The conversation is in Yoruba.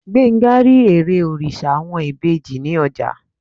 Gbenga ri èré oriṣa awọn ibeji ni ọja.